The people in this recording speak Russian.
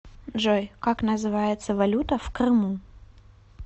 джой как называется валюта в крыму